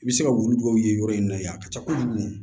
I bɛ se ka wulu dɔw ye yɔrɔ in na yen a ka ca kojugu